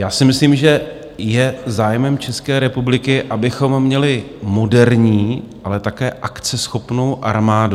Já si myslím, že je zájmem České republiky, abychom měli moderní, ale také akceschopnou armádu.